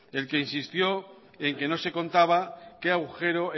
el que insistió en que no se contaba qué agujero